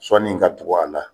Sɔnni in ka tug'a la